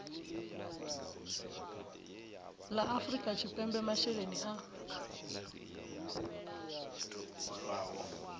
la afrika tshipembe masheleni a